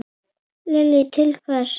Lillý: Til hvers?